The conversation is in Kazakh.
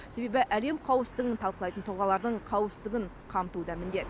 себебі әлем қауіпсіздігін талқылайтын тұлғалардың қауіпсіздігін қамту да міндет